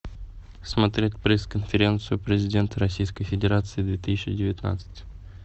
смотреть пресс конференцию президента российской федерации две тысячи девятнадцать